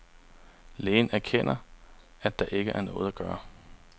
Lægen erkender, at der ikke er noget at gøre.